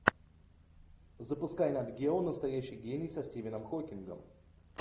запускай нат гео настоящий гений со стивеном хокингом